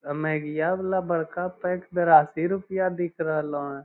आ मेगिया वाला बड़का पैक बेरासी रूपया दिख रहले हेय।